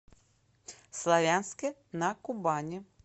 славянске на кубани